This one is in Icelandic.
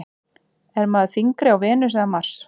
Er maður þyngri á Venus eða Mars?